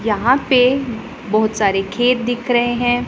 यहां पे बहुत सारे खेत दिख रहे हैं।